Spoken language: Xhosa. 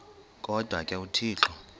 kodwa ke uthixo